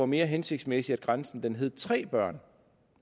mere hensigtsmæssigt at grænsen hed tre børn